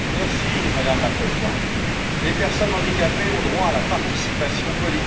Madame la Présidente, les personnes handicapées ont droit à la participation politique.